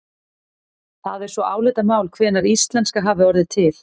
Það er svo álitamál hvenær íslenska hafi orðið til.